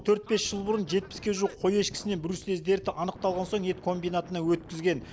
төрт бес жыл бұрын жетпіске жуық қой ешкісінен бруцелез дерті анықталған соң ет комбинатына өткізген